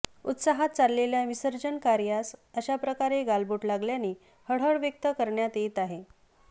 उत्साहात चाललेल्या विसर्जन कार्यास अशा प्रकारे गालबोट लागल्याने हळहळ व्यक्त करण्यात येत आहे